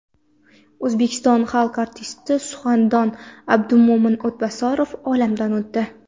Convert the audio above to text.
O‘zbekiston xalq artisti, suxandon Abdumo‘min O‘tbosarov olamdan o‘tdi.